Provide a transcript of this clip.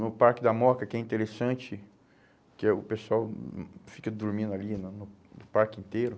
No Parque da Moca, que é interessante, que o pessoal hum fica dormindo ali no no parque inteiro.